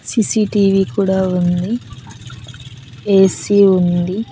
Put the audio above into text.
CCTV కూడా ఉంది AC ఉంది.